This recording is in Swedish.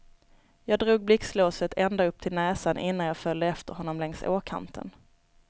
Jag drog blixtlåset ända upp till näsan innan jag följde efter honom längs åkanten.